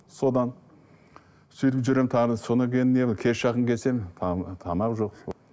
содан сөйтіп жүремін тағы содан кейін не кешке жақын келсем тамақ жол сол